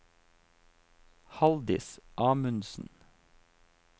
Halldis Amundsen